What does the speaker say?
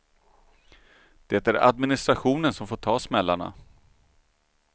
Det är administrationen som får ta smällarna.